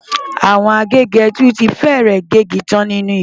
Àwọn agégẹdú ti fẹ́rẹ̀ gé igi tán ní gbó.